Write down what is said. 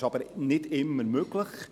Es ist aber nicht immer möglich.